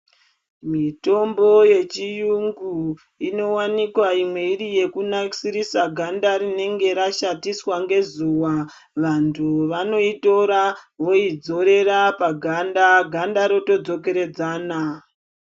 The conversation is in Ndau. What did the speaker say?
Mitombo yechiyungu inowanikwa imwe iri yekunasirisa ganda rinenge rashatiswa ngezuwa vantu vanoitora vodzorera paganda ganda rotodzokoredzana.